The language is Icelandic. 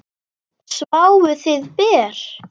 Sváfuð þið ber?